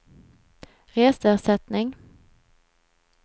reseersättning